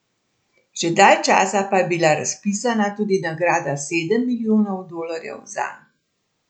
Že dalj časa pa je bila razpisana tudi nagrada sedem milijonov dolarjev zanj.